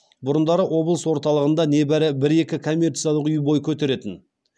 бұрындары облыс орталығында небары бір екі коммерциялық үй бой көтеретін